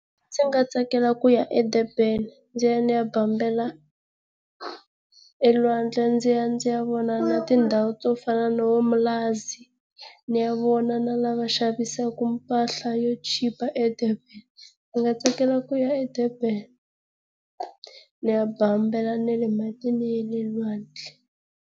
Ndzi nga tsakela kuya eDurban ndzi ya ni ya bambela elwandle ndzi ya ndzi ya vona na tindhawu to fana no vo Umlazi, ni ya vona na laha va xavisaka mpahla yo chipa eDurban. Ndzi nga tsakela ku ya eDurban, ni ya bambela na le matini ya le lwandle.